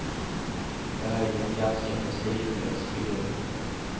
Jag är ju en ganska prestigelös figur.